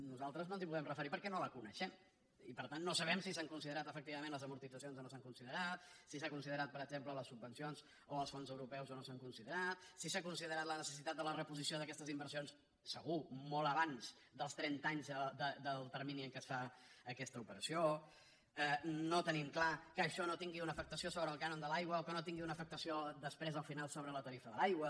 nosaltres no ens hi podem referir perquè no la coneixem i per tant no sabem si s’han considerat efectivament les amortitzacions o no s’han considerat si s’ha considerat per exemple les subvencions o els fons europeus o no s’han considerat si s’ha considerat la necessitat de la reposició d’aquestes inversions segur molt abans dels trenta anys del termini en què es fa aquesta operació no tenim clar que això no tingui una afectació sobre el cànon de l’aigua o que no tingui una afectació després al final sobre la tarifa de l’aigua